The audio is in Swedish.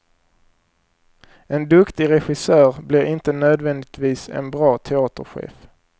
En duktig regissör blir inte nödvändigtvis en bra teaterchef.